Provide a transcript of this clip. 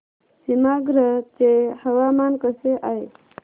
सीमांध्र चे हवामान कसे आहे